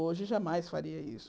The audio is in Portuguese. Hoje, eu jamais faria isso.